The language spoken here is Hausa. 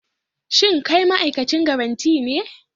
Shin kai ma'aikacin garanti ne?